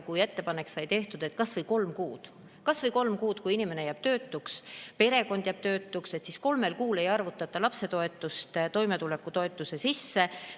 Ettepanek sai tehtud, et kas või kolm kuud, kui inimene on jäänud töötuks, perekond on jäänud töötuks, ei arvutata lapsetoetust toimetulekutoetuse sisse.